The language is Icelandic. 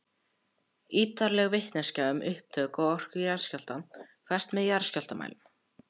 Ýtarleg vitneskja um upptök og orku jarðskjálfta fæst með jarðskjálftamælum.